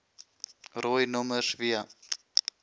rooi nommers via